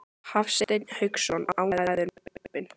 Hafsteinn Hauksson: Ánægður með kaupin?